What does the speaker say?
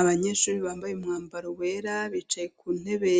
Abanyeshuri bambaye umwambaro wera, bicaye ku ntebe